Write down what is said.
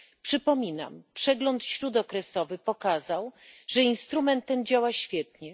Przypominam przegląd śródokresowy pokazał, że instrument ten działa świetnie.